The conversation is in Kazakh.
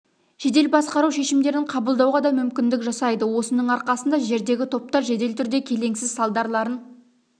жедел басқару шешімдерін қабылдауға да мүмкіндік жасайды осының арқасында жердегі топтар жедел түрде келеңсіз салдарларын